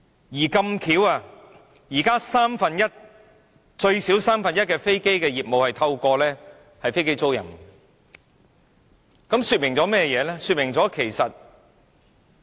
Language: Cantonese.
而巧合地，現時有最少三分之一的飛機業務是透過飛機租賃進行的，這說明了甚麼呢？